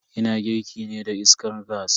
Ina girki ne da iskar gas.